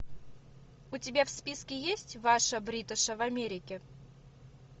у тебя в списке есть ваша бриташа в америке